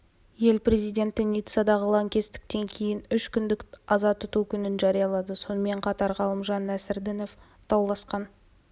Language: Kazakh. ел президенті ниццадағы лаңкестіктен кейін үш күндік аза тұту күнін жариялады сонымен қатар ғалымжан нәсірдінов дауласқан